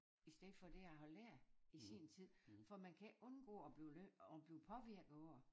I stedet for det jeg har lært i sin tid for man kan ikke undgå at blive lidt at blive påvirket af det